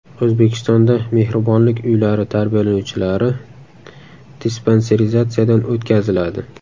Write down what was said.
O‘zbekistonda mehribonlik uylari tarbiyalanuvchilari dispanserizatsiyadan o‘tkaziladi.